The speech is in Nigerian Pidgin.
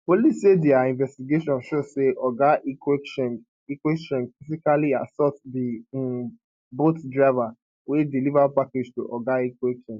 police say dia investigation show say oga ikwechegh ikwechegh physically assault di um bolt driver wey deliver package to oga ikwechegh